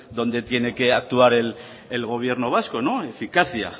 dónde tiene que actuar el gobierno vasco eficacia